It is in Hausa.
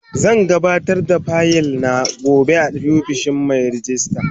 Zan gabatar da fayil na gobe a ofishin Mai rejista.